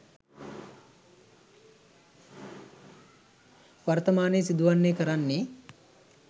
වර්තමානයේ සිදුවන්නේ කරන්නේ.